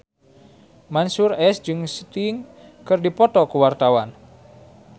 Mansyur S jeung Sting keur dipoto ku wartawan